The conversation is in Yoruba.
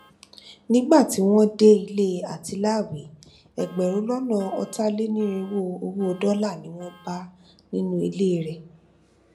nígbà tí wọn dé ilé àtiláàwí ẹgbẹrún lọnà ọtàlénírínwó owó dọlà ni wọn bá nínú ilé rẹ